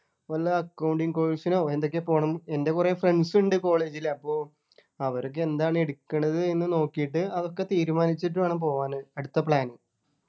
വല്ല accounting course നോ എന്തൊക്കെയോ പോണം എൻ്റെ കുറെ friends ഉണ്ട് college ൽ അപ്പൊ അവരൊക്കെ എന്താണ് എടുക്കണത് എന്ന് നോക്കീട്ട് അതൊക്കെ തീരുമാനിച്ചിട്ട് വേണം പോകാന് അടുത്ത plan